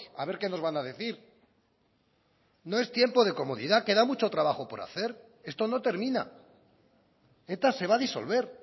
a ver qué nos van a decir no es tiempo de comodidad queda mucho trabajo por hacer esto no termina eta se va a disolver